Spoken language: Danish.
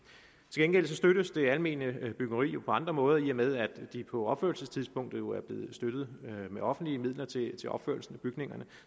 gengæld støttes det almene byggeri jo på andre måder i og med at de på opførelsestidspunktet jo er blevet støttet med offentlige midler til til opførelsen af bygningerne